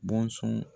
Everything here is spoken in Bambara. Bɔnsɔn